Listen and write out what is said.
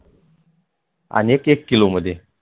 आणि एक एक किलो मध्ये